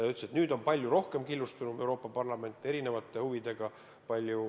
Ta ütles, et nüüd on palju rohkem killustunud Euroopa Parlament, erinevate huvidega.